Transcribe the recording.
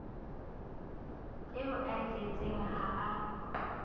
eo a e jetseng ha